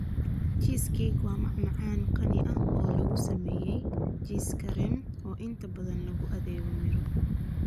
Cheesecake waa macmacaan qani ah oo lagu sameeyay jiis kareem, oo inta badan lagu adeego miro.